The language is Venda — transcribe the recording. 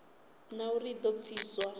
na uri i do pfiswa